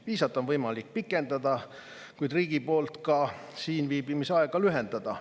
Viisat on võimalik pikendada, kuid riigi poolt ka siin viibimise aega lühendada.